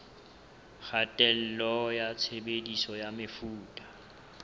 kgatello ya tshebediso ya mefuta